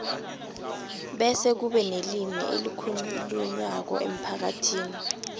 bese kube nelimi elikhulunywako emphakathini